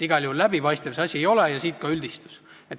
Igal juhul läbipaistev see asi ei ole ja siit ka üldistus.